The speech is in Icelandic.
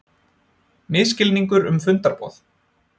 Misskilningur um fundarboð